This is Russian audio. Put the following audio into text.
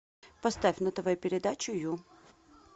поставь на тв передачу ю